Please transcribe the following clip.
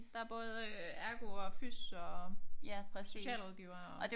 Der både øh ergo og fys og socialrådgiver og